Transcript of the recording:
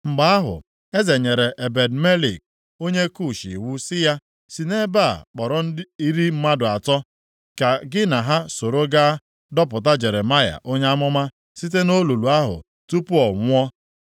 Mgbe ahụ, eze nyere Ebed-Melek onye Kush iwu sị ya, “Sị nʼebe a kpọrọ iri mmadụ atọ ka gị na ha soro gaa dọpụta Jeremaya onye amụma site nʼolulu ahụ tupu ọ nwụọ.”